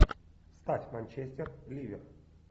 ставь манчестер ливер